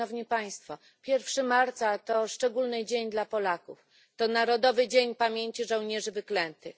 1 marca to szczególny dzień dla Polaków to Narodowy Dzień Pamięci Żołnierzy Wyklętych.